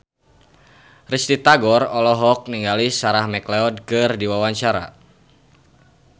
Risty Tagor olohok ningali Sarah McLeod keur diwawancara